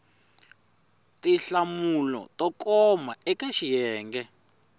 tinhlamulo to koma eka xiyenge